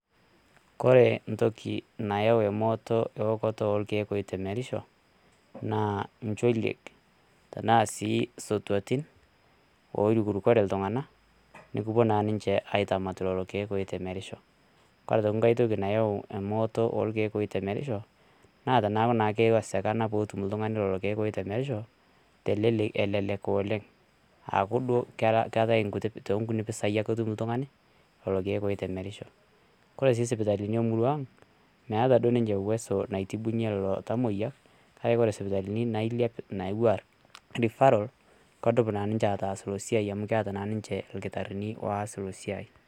Koree entoki nayau emooto eokoto oorkiek oitemerisho naa ncholiek tenaa si sotuatin oirukurukore ltung'ana nikipo naa ninche aitamat lelo lelo irkiek oitemerisho, kore aitoki nkae toki nayau emooto orkiek oitemerisho naa tanaku naa keiwesekana peetum ltung'ani lelo irkiek oitemerisho elelek oleng' aaku duo keatae too nkutii pesaii ake etum ltung'ani lelo irkiek oitemerisho, kore sii sipitalini emurruaang' meeta duo ninche uweso naitibunye lelo tamoiya kake ore nailiep natiuaa Referral kedup naa ninche ataasa ilo siaai amu keeta naa nincheirkitarini oas ina siaai.